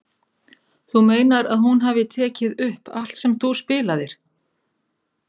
Þú meinar að hún hafi tekið upp allt sem þú spilaðir?